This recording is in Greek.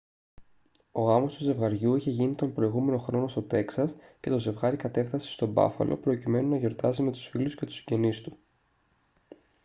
ο γάμος του ζευγαριού είχε γίνει τον προηγούμενο χρόνο στο τέξας και το ζευγάρι κατέφθασε στο μπάφαλο προκειμένου να γιορτάσει με τους φίλους και τους συγγενείς του